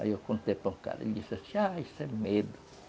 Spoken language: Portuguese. Aí eu contei para um cara, ele disse assim, ah, isso é medo.